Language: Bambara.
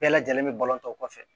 Bɛɛ lajɛlen bɛ balon tɔ kɔfɛ